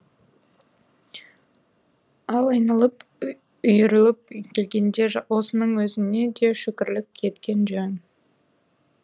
ал айналып үйіріліп келгенде осының өзіне де шүкіршілік еткен жөн